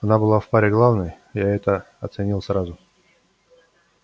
она была в паре главной я это оценил сразу